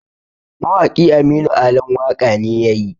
Mawaki Aminu Alan waƙa ne yayi